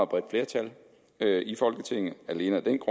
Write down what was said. bredt flertal i folketinget og alene af den